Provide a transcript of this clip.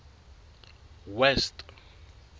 west